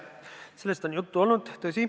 Tõsi, sellest on juttu olnud.